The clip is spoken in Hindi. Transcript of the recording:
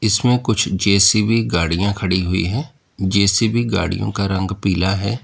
इसमें कुछ जे_सी_बी गाड़ियां खड़ी हुई है जे_सी_बी गाड़ियों का रंग पीला है।